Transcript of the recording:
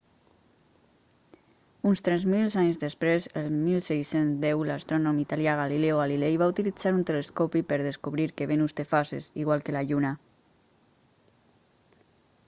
uns tres mil anys després el 1610 l'astrònom italià galileo galilei va utilizar un telescopi per descobrir que venus té fases igual que la lluna